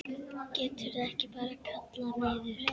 Geturðu ekki bara kallað niður?